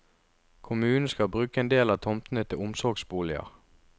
Kommunen skal bruke en del av tomtene til omsorgsboliger.